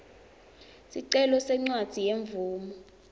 sicelo sencwadzi yemvumo